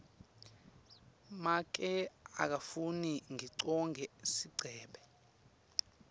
make akafuni ngigcoke sigcebhe